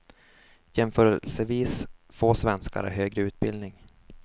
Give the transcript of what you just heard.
Jämförelsevis få svenskar har högre utbildning.